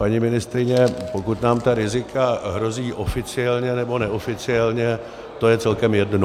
Paní ministryně, pokud nám tady rizika hrozí oficiálně nebo neoficiálně, to je celkem jedno.